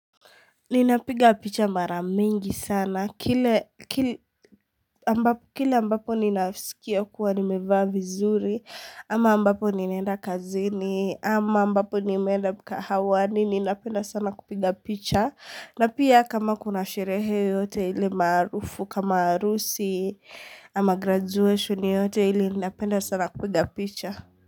Ninapiga picha mara mingi sana. Kila ambapo ninasikia kuwa nimefaa zuri, ama ambapo ninenda kazini, ama ambapo nimenda kahawani, ninapenda sana kupiga picha. Na pia kama kuna sherehe yeyote ili marufu, kama harusi, ama graduation yote ili ninapenda sana kupiga picha.